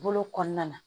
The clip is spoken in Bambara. Bolo kɔnɔna na